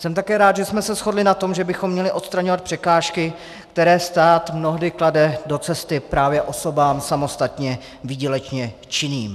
Jsem také rád, že jsme se shodli na tom, že bychom měli odstraňovat překážky, které stát mnohdy klade do cesty právě osobám samostatně výdělečně činným.